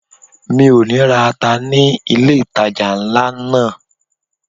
Mi ò ní ra ata ní ilé ìtajà ńlá náà.